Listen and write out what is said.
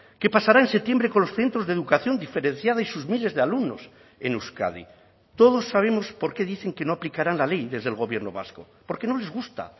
qué pasará en septiembre con los centros de educación diferenciada y sus miles de alumnos en euskadi todos sabemos por qué dicen que no aplicarán la ley desde el gobierno vasco porque no les gusta